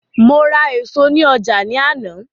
Mo ra èso ní ọjà ní àná